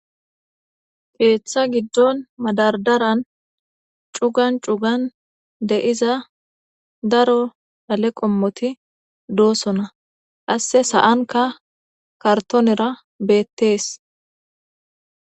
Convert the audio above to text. Ketha gidon madardaran c'ugan c'ugan de'za daro dhale qomoti dosona qase sa'anka kartonera betes.